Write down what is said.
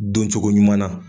Doncogoɲuman na.